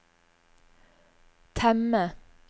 temme